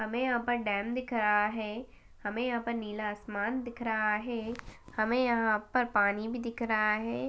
हमें यहाँ पर डैम दिख रहा है हमें यहाँ पर नीला आसमान दिख रहा है हमें यहाँ पर पानी भी दिख रहा है।